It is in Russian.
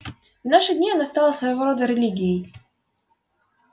в наши дни она стала своего рода религией